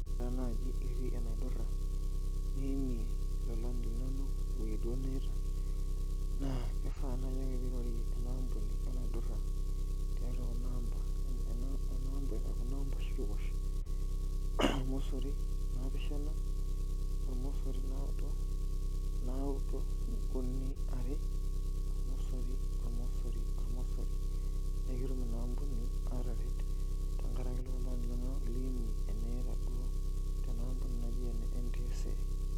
Oreenaaji ketii enaidura keimie lolan linonok ewoi duo niyaita na kifaa naiake piirorie enaampuni enaidura tiatua kunamba oshi naoshi, ormosori napishana, ormosori naudo, naudo uni are ormosori ormosori ormosori petum inaampuni ataret tenkaraki lolan linonok liimie eniita duo tenaampuni naji ene NTSA